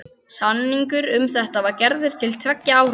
Samningur um þetta var gerður til tveggja ára.